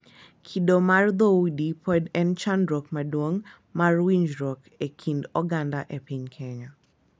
Kido mar dhoudi pod en chandruok maduong' mar winjruok e kind oganda e piny Kenya,